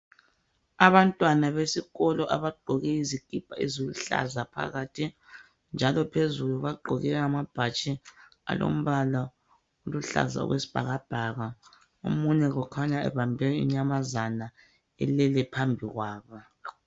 Abantwana besikolo abagqoke izikhipha eziluhlaza phakathi, njalo phezulu bagqoke amabhatshi alombala oluhlaza okwesbhakabhaka. Umunye kukhanya ubambe inyamazana elele phambi kwabo.